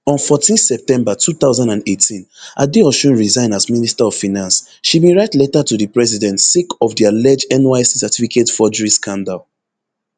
on fourteen september two thousand and eighteen adeosun resign as minister of finance she bin write letter to di president sake of di alleged nysc certificate forgery scandal